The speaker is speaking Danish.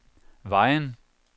Vejen